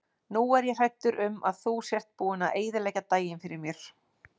Nú er ég hræddur um að þú sért búinn að eyðileggja daginn fyrir mér.